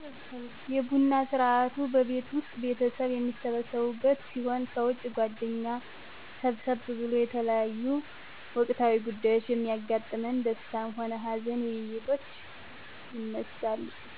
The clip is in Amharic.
የቡና ስርአቱ በቤት ዉስጥ ቤተሰብ የሚሰበሰብበት ሲሆን ከዉጭ ጓደኛ ሰብሰብ ብሎ የተለያዮ ወቅታዊ ጉዳዮች በሚያጋጥመን ደስታም ሆነ ሀዘን ዉይይቶች ይነሳሉ